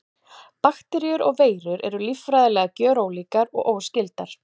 Bakteríur og veirur eru líffræðilega gjörólíkar og óskyldar.